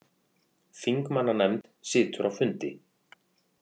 Þingmannanefnd situr á fundi